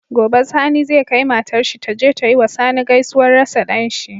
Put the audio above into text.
Gobe sani zai kai matar shi taje ta yiwa sani gaisuwar rasa danshi